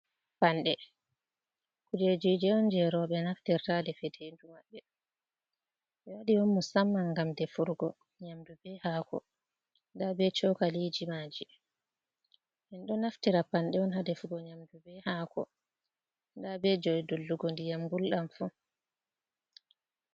Panɗe. Kujejiji jei rowɓe naftirta ha defetendu maɓɓe. Ɓe waɗi on musamman ngam defurgo nyamdu be hako. Nda be cokaliji maaji, en ɗo naftira panɗe on ha defugo nyamdu be haako. Nda bo jei dullugo ndiyam gulɗam fu.